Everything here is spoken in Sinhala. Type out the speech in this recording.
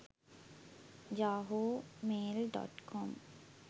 yahoo mail.com